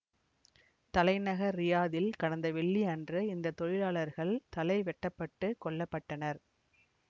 தலைநகர் ரியாதில் கடந்த வெள்ளி அன்று இந்த தொழிலாளர்கள் தலை வெட்டப்பட்டு கொல்ல பட்டனர்